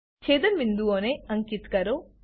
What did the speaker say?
છેદન બિંદુઓને અંકીત કરો